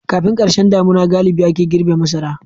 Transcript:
Kafin karshen damina galibi ake girbe masara.